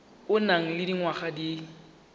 o nang le dingwaga di